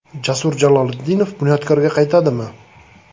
Jasur Jaloliddinov “Bunyodkor”ga qaytadimi?